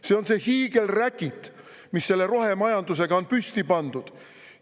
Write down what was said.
See on see hiigelräkit, mis selle rohemajandusega on püsti pandud.